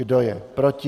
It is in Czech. Kdo je proti?